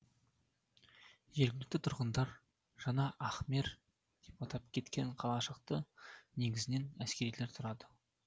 жергілікті тұрғындар жаңа ахмер деп атап кеткен қалашықта негізінен әскерилер тұрады